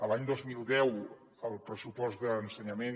l’any dos mil deu el pressupost d’ensenyament